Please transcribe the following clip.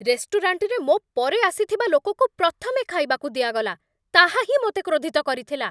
ରେଷ୍ଟୁରାଣ୍ଟରେ ମୋ ପରେ ଆସିଥିବା ଲୋକକୁ ପ୍ରଥମେ ଖାଇବାକୁ ଦିଆଗଲା, ତାହାହିଁ ମୋତେ କ୍ରୋଧିତ କରିଥିଲା।